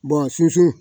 sunsun